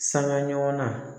Sangaɲɔgɔnna